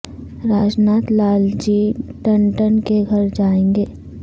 راج ناتھ لال جی ٹنڈن کے گھر جائیں گے